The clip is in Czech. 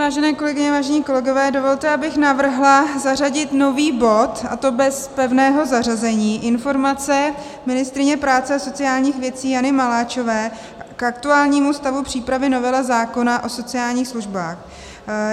Vážené kolegyně, vážení kolegové, dovolte, abych navrhla zařadit nový bod, a to bez pevného zařazení - informace ministryně práce a sociálních věcí Jany Maláčové k aktuálnímu stavu přípravy novely zákona o sociálních službách.